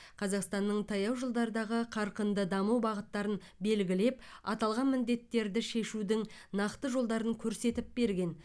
қазақстанның таяу жылдардағы қарқынды даму бағыттарын белгілеп аталған міндеттерді шешудің нақты жолдарын көрсетіп берген